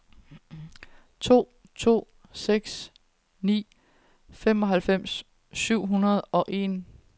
to to seks ni femoghalvfems syv hundrede og en